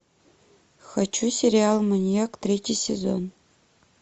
хочу сериал маньяк третий сезон